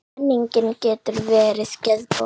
Menning getur verið geðbót.